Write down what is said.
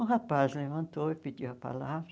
Um rapaz levantou e pediu a palavra.